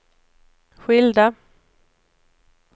skilda